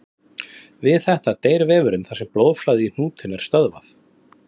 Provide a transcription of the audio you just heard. Við þetta deyr vefurinn þar sem blóðflæði í hnútinn er stöðvað.